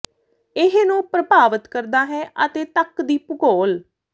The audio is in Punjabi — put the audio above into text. ਇਹ ਨੂੰ ਪ੍ਰਭਾਵਿਤ ਕਰਦਾ ਹੈ ਅਤੇ ਤੱਕ ਦੀ ਭੂਗੋਲ